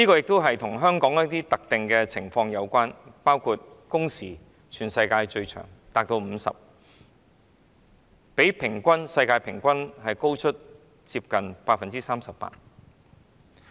這亦與香港的一些特殊情況有關，包括全世界最長的工時，每星期50小時左右的工時比世界平均工時高出近 38%。